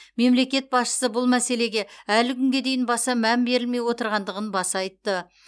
мемлекет басшысы бұл мәселеге әлі күнге дейін баса мән берілмей отырғандығын баса айтты